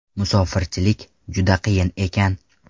Musofirchilik juda qiyin ekan.